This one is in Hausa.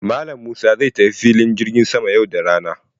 Malam Musa zai tafi filin jirgin sama yau da rana.